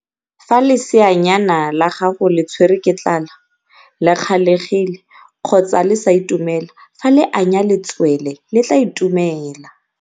Fa leseanyana la gago le tshwere ke tlala, le kgalegile kgotsa le sa itumela, fa le anya letswele le tla itumela.